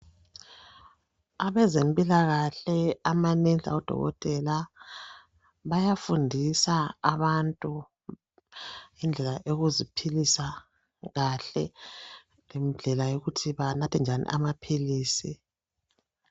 Abezempilakahle amanesi lamadokotela bayafundisa abantu ngendlela eyokuziphilisa kahle lendlela yokuthi banathe njani amaphilisi